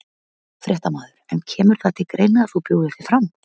Fréttamaður: En kemur það til greina að þú bjóðir þig fram?